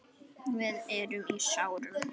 Við erum í sárum.